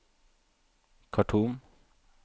Khartoum